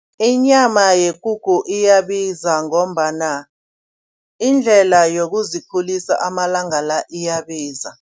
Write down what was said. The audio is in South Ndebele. Inyama yekukhu iyabiza ngombana iindlela yokuzikhulisa amalanga la iyabiza.